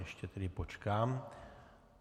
Ještě tedy počkám.